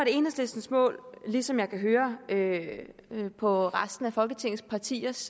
enhedslistens mål ligesom jeg kan høre høre på resten af folketingets partiers